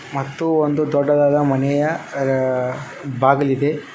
ಮತ್ತು ಒಂದು ದೊಡ್ಡದಾದ ಮನೆಯ ಅ ಬಾಗಿಲಿದೆ.